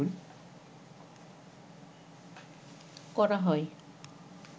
করা হয়